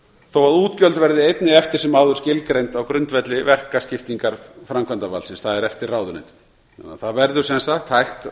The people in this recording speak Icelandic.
þó að útgjöld verði einnig eftir sem áður skilgreind á grundvelli verkaskiptingar framkvæmdarvaldsins það er eftir ráðuneytum það verður sem sagt hægt